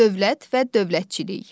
Dövlət və dövlətçilik.